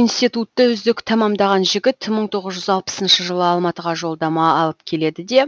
институтты үздік тәмамдаған жігіт мың тоғыз жүз алпысыншы жылы алматыға жолдама алып келеді де